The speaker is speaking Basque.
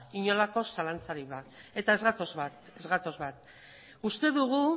inolako zalantzarik gabe eta ez gatoz bat uste dugu